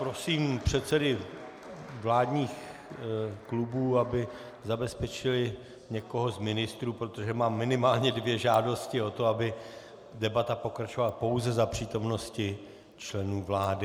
Prosím předsedy vládních klubů, aby zabezpečili někoho z ministrů, protože mám minimálně dvě žádosti o to, aby debata pokračovala pouze za přítomnosti členů vlády.